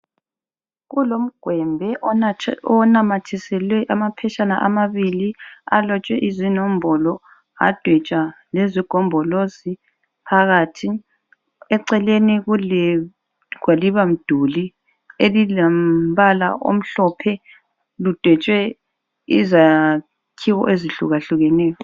Kulomgwembe onamathiselwe amaphetshana amabili alotshwe izinombolo adwetshwa lezigombolozi phakathi. Eceleni kulegwaliba mduli elilombala omhlophe lidwetshwe izakhiwo ezihlukahlukeneyo.